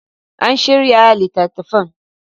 An shirya littattafan.